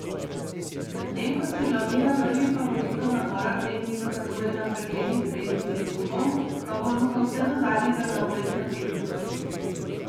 Medtem ko se glavnina prvih favoritov nabora te dni dokazuje na preglednih treningih klubov, pa bo Luka vse do zadnjega na ogled na tekmah.